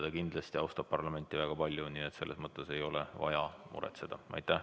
Ja kindlasti ta austab parlamenti väga palju, nii et selle pärast ei ole vaja muretseda.